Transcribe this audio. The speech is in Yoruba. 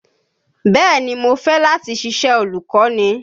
Bẹ́ẹ̀ ni, mo fẹ́ láti ṣiṣẹ́ olùkọ́ni.